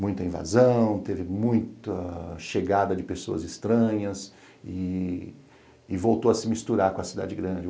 muita invasão, teve muita chegada de pessoas estranhas e e voltou a se misturar com a cidade grande.